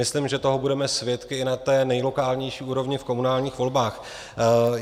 Myslím, že toho budeme svědky i na té nejlokálnější úrovni v komunálních volbách.